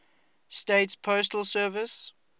states postal service